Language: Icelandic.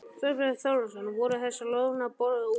Þorbjörn Þórðarson: Voru þessar lóðir boðnar út?